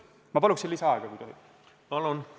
Ma palun lisaaega, kui tohib!